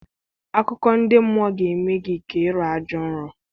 Akụkọ ndị mmụọ ga-eme gị ka ị rọọ ajọ nrọ.